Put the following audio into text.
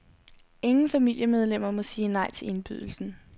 Ingen familiemedlemmer må sige nej til indbydelsen.